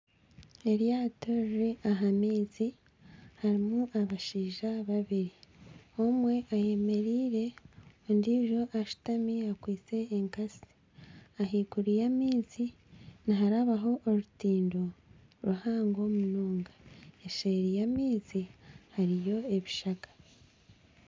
Eryaato riri aha maizi. Harimu abashaija babiri. Omwe ayemereire, ondijo ashutami akwitse enkatsi. Ah'iguru y'amaizi niharabaho orutindo ruhango munonga, eseeri y'amaizi hariyo ebishaka.